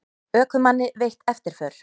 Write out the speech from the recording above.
Ökumanni veitt eftirför